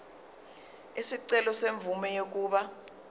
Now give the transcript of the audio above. isicelo semvume yokuba